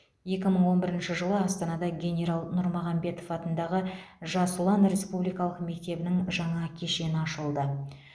екі мың он бірінші жылы астанада генерал нұрмағамбетов атындағы жас ұлан республикалық мектебінің жаңа кешені ашылды